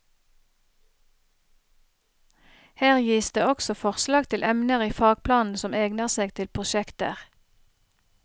Her gis det også forslag til emner i fagplanen som egner seg til prosjekter.